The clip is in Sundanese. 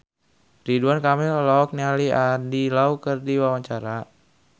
Ridwan Kamil olohok ningali Andy Lau keur diwawancara